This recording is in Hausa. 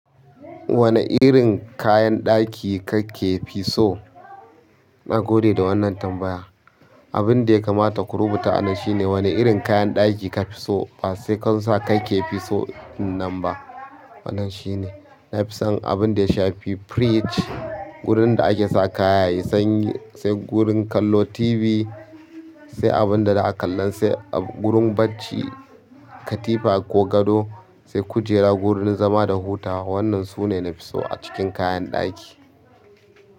Wane irin kayan ɗaki kake fi so? Na gode da wannan tambaya. Abin da ya kamata ku rubuta a nan shine wane irin kayan ɗaki ka fi so ba sai kan sa kai ke fi so ɗinnan ba. Wannan shine, na fi son abin da ya shafi fridge, wurin da ake sa kayan yayi sanyi, sai gurin kallo TV, sai abin da za a kallan, sai gurin bacci, katifa ko gado, sai kujera gurin zama da hutawa. Wannan su ne na fi so a cikin kayan ɗaki.